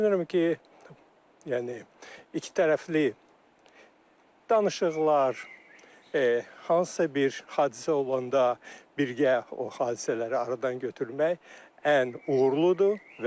Düşünürəm ki, yəni iki tərəfli danışıqlar, hansısa bir hadisə olanda birgə o hadisələri aradan götürmək ən uğurludur.